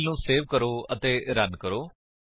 file ਨੂੰ save ਕਰੋ ਅਤੇ ਰਨ ਕਰੋ